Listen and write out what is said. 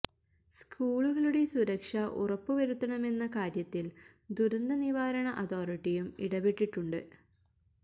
സ്കൂളുകളുടെ സുരക്ഷ ഉറപ്പ് വരുത്തണമെന്ന കാര്യത്തില് ദുരന്ത നിവാരണ അതോറിറ്റിയും ഇടപെട്ടിട്ടുണ്ട്